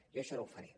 jo això no ho faré